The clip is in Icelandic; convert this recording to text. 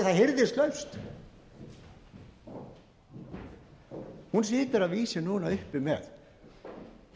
eignir sé það hirðislaust hún situr að vísu núna uppi með